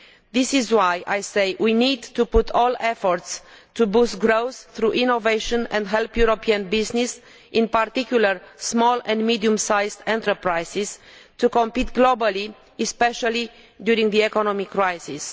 This is why I say we need to put all our efforts into boosting growth through innovation and help European business, in particular small and medium sized enterprises, to compete globally, especially during the economic crisis.